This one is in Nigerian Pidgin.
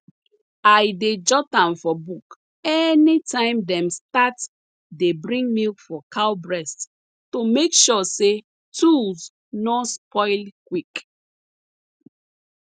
i dey jot am for book anytime dem start dey bring milk for cow breast to make sure say tools nor spoil quick